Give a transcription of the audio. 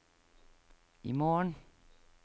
imorgen